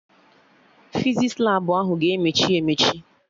Fizis Labụ ahụ ga-emechi emechi